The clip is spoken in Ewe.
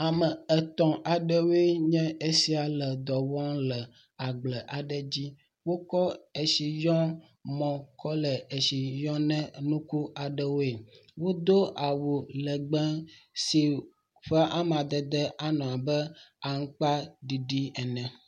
Ame etɔ̃ aɖewoe nye esia le dɔ wɔm le agble aɖe dzi. Wokɔ etsiyɔmɔ kɔ le etsi yɔ ne nuku aɖewoe. Wodo awu legbe si ƒe amadede anɔ abe aŋkpaɖiɖi ene.